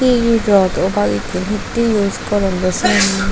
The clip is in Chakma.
he rot obak egun hetay use goron.